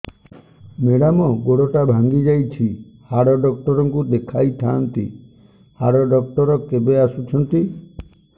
madam ଗୋଡ ଟା ଭାଙ୍ଗି ଯାଇଛି ହାଡ ଡକ୍ଟର ଙ୍କୁ ଦେଖାଇ ଥାଆନ୍ତି ହାଡ ଡକ୍ଟର କେବେ ଆସୁଛନ୍ତି